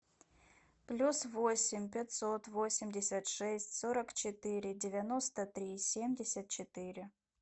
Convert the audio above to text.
плюс восемь пятьсот восемьдесят шесть сорок четыре девяносто три семьдесят четыре